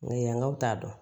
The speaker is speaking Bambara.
Ŋɛɲɛ nka u t'a dɔn